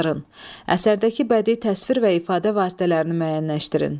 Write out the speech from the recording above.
Əsərdəki bədii təsvir və ifadə vasitələrini müəyyənləşdirin.